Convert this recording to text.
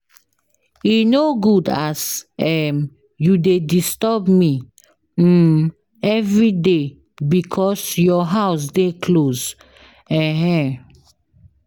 E no good as um you dey disturb me um everyday because your house dey close. um